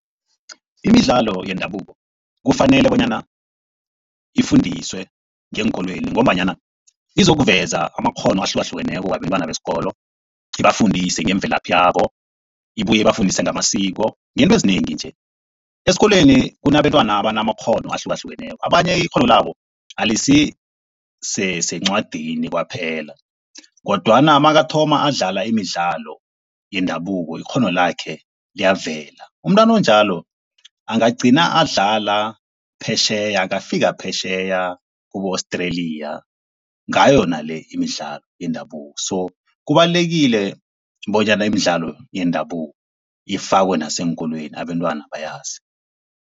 Imidlalo yendabuko kufanele bonyana ifundiswe ngeenkolweni ngombanyana izokuveza amakghono ahlukahlukeneko wabentwana besikolo. Ibafundise ngemvelaphi yabo, ibuye ibafundise ngamasiko, ngeento ezinengi nje. Esikolweni kunabentwana abanamakghono ahlukahlukeneko abanye ikghono labo alisisencwadini kwaphela kodwana makathoma ukudlala imidlalo yendabuko ikghono lakhe liyavela. Umntwana onjalo, angagcina adlala phetjheya angafika phetjheya kibo-Australia ngayo yona le imidlalo yendabuko. So, kubalulekile bonyana imidlalo yendabuko ifakwe naseenkolweni abantwana bayazi.